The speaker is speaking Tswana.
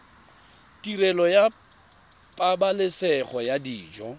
tirelo ya pabalesego ya dijo